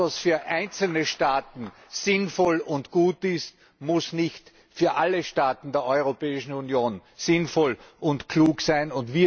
Was für einzelne Staaten sinnvoll und gut ist, muss nicht für alle Staaten der Europäischen Union sinnvoll und klug sein.